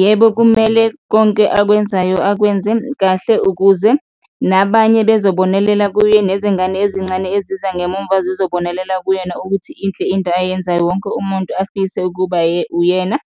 Yebo, kumele konke akwenzayo, akwenze kahle ukuze nabanye bezobonelela kuye nezingane ezincane ezizangemumva zizobonelela kuyena ukuthi inhle into ayenzayo, wonke umuntu afise ukuba uyena